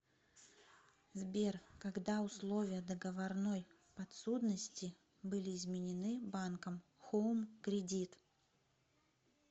сбер когда условия договорной подсудности были изменены банком хоум кредит